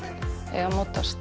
eiga að mótast